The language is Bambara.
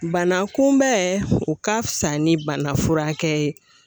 Bana kunbɛn o ka fisa ni banafurakɛ ye